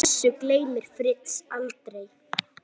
Þessu gleymir Fritz aldrei.